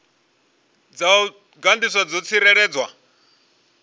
dza u gandiswa dzo tsireledzwa